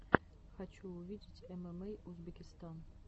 хочу увидеть эмэмэй узбекистан